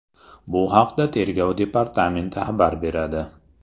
Bu haqda Tergov departamenti xabar beradi .